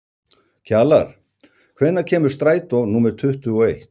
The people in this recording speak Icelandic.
Kjalar, hvenær kemur strætó númer tuttugu og eitt?